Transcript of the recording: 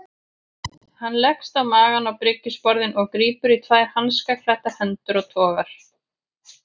Hann leggst á magann á bryggjusporðinn og grípur í tvær hanskaklæddar hendur og togar.